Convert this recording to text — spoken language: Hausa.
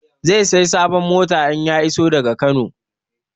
Zai saya sabon mota in ya iso daga Kano